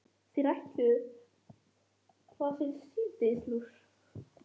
Þá þurfum við engan tíkall!